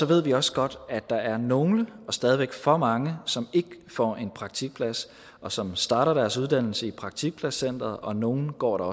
ved vi også godt at der er nogle og stadig væk for mange som ikke får en praktikplads og som starter deres uddannelse i praktikpladscenteret og nogle går der